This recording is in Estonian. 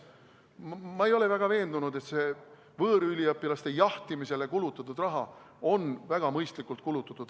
Ma ei ole väga veendunud, et see võõrüliõpilaste jahtimisele kulutatud raha on väga mõistlikult kulutatud.